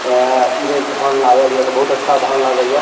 अ ई बेर धान लागललिय तो बहुत अच्छा धान लागइय।